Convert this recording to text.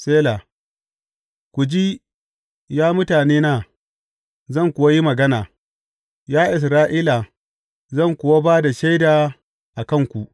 Sela Ku ji, ya mutanena, zan kuwa yi magana, Ya Isra’ila, zan kuwa ba da shaida a kanku.